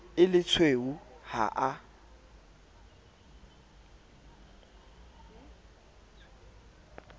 e le tshweu ha a